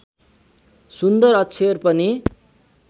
सुन्दर अक्षर पनि